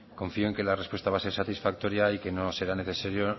confío en que la respuesta va a ser satisfactoria y que no será necesario